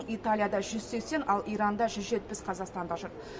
италияда жүз сексен ал иранда жүз жетпіс қазақстандық жүр